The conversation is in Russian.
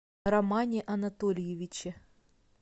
романе анатольевиче